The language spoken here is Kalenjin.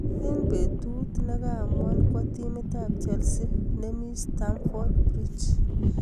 Eng betuut negaamuan kwa timit ab chelsii ne mii starmford bridge